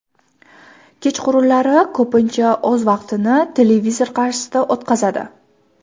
Kechqurunlari ko‘pincha o‘z vaqtini televizor qarshisida o‘tkazadi.